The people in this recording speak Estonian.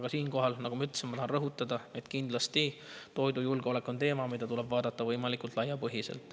Kuid siinkohal, nagu ma ütlesin, tahan rõhutada, et kindlasti on toidujulgeolek teema, mida tuleb vaadata võimalikult laiapõhjaliselt.